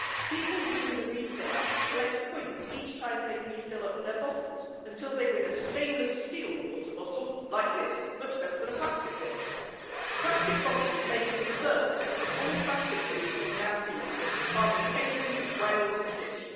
People using the Refill app collect points each time they refill their bottles until they win a stainless steel water bottle like this much better than a plastic one. Plastic bottles make up a third of all plastic pollution in our seas, harming penguins, whales and fish.